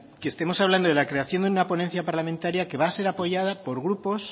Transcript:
que estemos hablando de la creación de una ponencia parlamentaria que va a ser apoyada por grupos